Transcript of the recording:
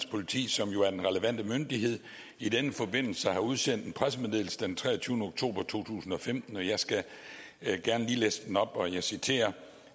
politi som jo er den relevante myndighed i den forbindelse har udsendt en pressemeddelelse den treogtyvende oktober to tusind og femten jeg skal gerne lige læse den op og jeg citerer